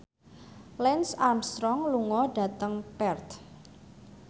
Lance Armstrong lunga dhateng Perth